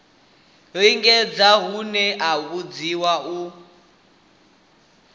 lingedza honoho a vhidzwa u